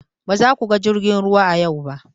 Ba za ku ga jirgin ruwa a yau ba!